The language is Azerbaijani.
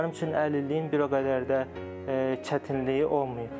Mənim üçün əlilliyin bir o qədər də çətinliyi olmayıb.